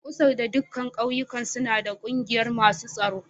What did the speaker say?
Kusar da dukan ƙauyuka suna da ƙungiyar masun tsoro.